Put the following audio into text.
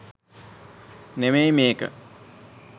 නෙමෙයි මේක.